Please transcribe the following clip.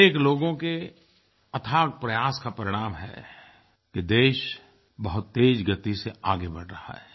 अनेक लोगों के अथक प्रयास का परिणाम है कि देश बहुत तेज़ गति से आगे बढ़ रहा है